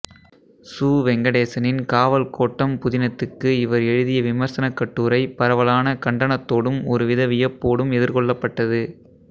சு வெங்கடேசனின் காவல் கோட்டம் புதினத்துக்கு இவர் எழுதிய விமர்சனக் கட்டுரை பரவலான கண்டனத்தோடும் ஒருவித வியப்போடும் எதிர்கொள்ளப்பட்டது